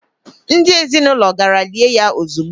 Ndị ezinaụlọ gara gaa lie ya ezigbo.